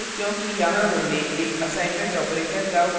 ऐसा इसलिए क्योंकि यहाँ हमने एक assignment operator का उपयोग किया है